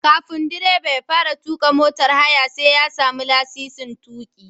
Kafin direba ya fara tuƙa motar haya sai ya sami lasisin tuƙi.